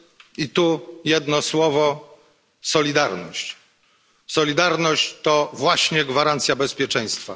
I tu jedno słowo solidarność. Solidarność to właśnie gwarancja bezpieczeństwa.